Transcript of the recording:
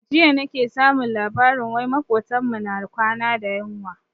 Jiya nake samun labarin wai makotan mu na kwana da yunwa.